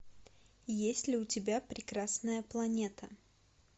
есть ли у тебя прекрасная планета